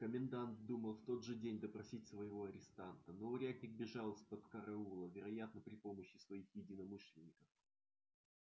комендант думал в тот же день допросить своего арестанта но урядник бежал из-под караула вероятно при помощи своих единомышленников